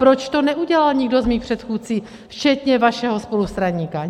Proč to neudělal nikdo z mých předchůdců, včetně vašeho spolustraníka?